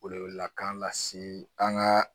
Welewelekan lase an ka